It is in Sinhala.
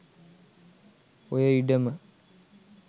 ඔය ඉඩම